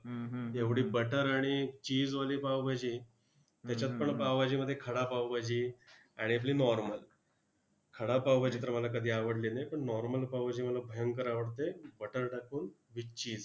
एवढी butter आणि cheese मध्ये पावभाजी, त्याच्यात पण पावभाजीमध्ये खडा पावभाजी आणि आपली normal खडा पावभाजी तर मला कधी आवडली नाही, पण normal पावभाजी मला भयंकर आवडते. Butter टाकून ती with cheese